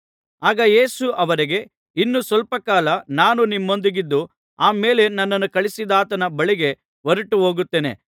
ಆಗ ಯೇಸು ಅವರಿಗೆ ಇನ್ನು ಸ್ವಲ್ಪಕಾಲ ನಾನು ನಿಮ್ಮೊಂದಿಗಿದ್ದು ಆಮೇಲೆ ನನ್ನನ್ನು ಕಳುಹಿಸಿದಾತನ ಬಳಿಗೆ ಹೊರಟು ಹೋಗುತ್ತೇನೆ